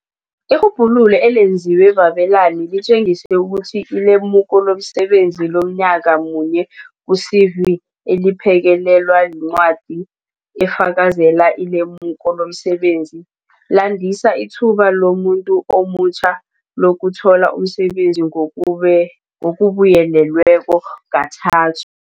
Irhubhululo elenziwe babelani litjengisa ukuthi ilemuko lomsebenzi lomnyaka munye ku-CV, eliphekelelwa yincwa di efakazela ilemuko lomsebenzi, landisa ithuba lomuntu omutjha lokuthola umsebenzi ngokubuyelelwe kathathu.